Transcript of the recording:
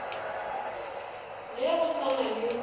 ye go sa na le